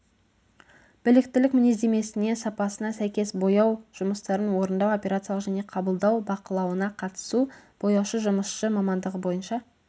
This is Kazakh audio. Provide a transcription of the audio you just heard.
біліктілік мінездемесіне сапасына сәйкес бояу жұмыстарын орындау операциялық және қабылдау бақылауына қатысу бояушы жұмысшы мамандығы бойынша